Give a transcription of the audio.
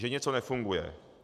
Že něco nefunguje.